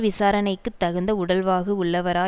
விசாரணைக்கு தகுந்த உடல்வாகு உள்ளவரா